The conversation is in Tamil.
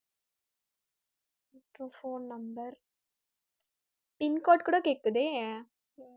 அப்புறம் phone number pincode கூட கேக்குதே